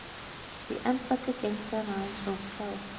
Því embætti gegndi hann aðeins rúmt ár.